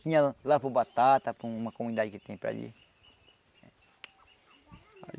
Tinha lá para o Batata, para uma comunidade que tem para ali.